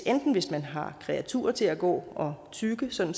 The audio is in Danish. enten hvis man har kreaturer til at gå og tygge sådan